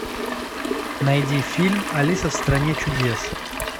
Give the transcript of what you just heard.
найди фильм алиса в стране чудес